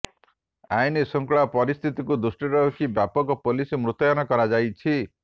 ଆଇନଶୃଙ୍ଖଳା ପରିସ୍ଥିତକୁ ଦୃଷ୍ଟିରେ ରଖି ବ୍ୟାପକ ପୋଲିସ ମୁତୟନ କରାଯାଇଛି